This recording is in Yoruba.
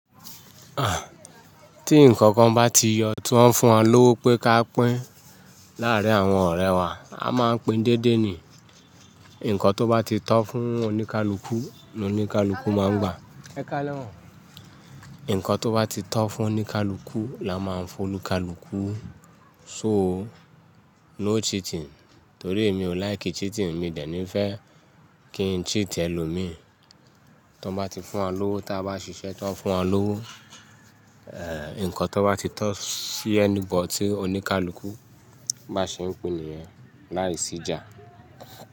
Ah! Tí ǹkan kan bá ti yọ tó ń fún wa lówó pé ká pín láàárín àwọn ọ̀rẹ́ wa, a máa ń pín déédéé ni. Ǹkan tó bá ti tọ́ fún oníkálukú ni oníkálukú máa ń gba. Ǹkan tó bá ti tọ́ fún oníkálukú la máa ń fún olúkálúkú. So, no cheating torí èmi ò like cheating, èmi dẹ̀ ni fẹ́ kí n cheat ẹlòmíí. Tí wọ́n bá ti fún wa lówó, tí a bá ṣiṣẹ́ tó ń fún wa lówó, eh! Ǹkan tó bá ti tọ́ sí ẹni bọ̀ tí oníkálukú bá ṣe ń pín nìyẹn, láìsí ìjà.